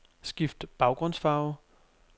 Skift baggrundsfarve.